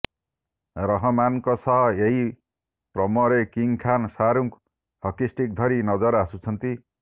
ରହମାନ୍ଙ୍କ ସହ ଏହି ପ୍ରମୋରେ କିଙ୍ଗ୍ ଖାନ୍ ଶାହାରୁଖ୍ ହକିଷ୍ଟିକ୍ ଧରି ନଜର ଆସୁଛନ୍ତି